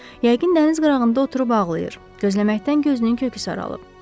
Yəqin dəniz qırağında oturub ağlayır, gözləməkdən gözünün kökü saralıb.